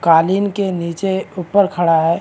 कालीन के नीचे ऊपर खड़ा है।